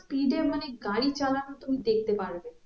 speed এ মানে গাড়ি চালানো তুমি দেখতে পারবে